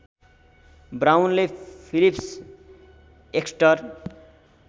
Brownlee Phillips Exter